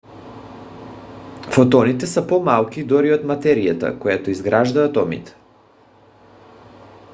фотоните са по-малки дори от материята която изгражда атомите!